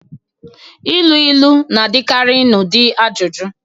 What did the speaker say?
Ilu ilu na-adịkarị n'ụdị ajụjụ